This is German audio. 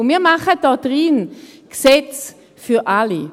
Und wir machen hier in diesem Saal Gesetze für alle.